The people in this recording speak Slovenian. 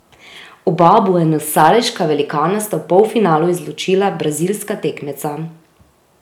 Oba buenosaireška velikana sta v polfinalu izločila brazilska tekmeca.